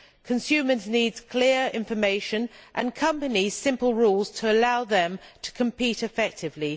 Consumers need clear information and companies need simple rules to allow them to compete effectively.